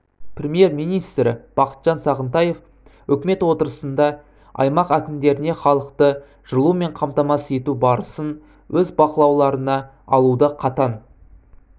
премьер-министрі бақытжан сағынтаев үкімет отырысында аймақ әкімдеріне халықты жылумен қамтамасыз ету барысын өз бақылауларына алуды қатаң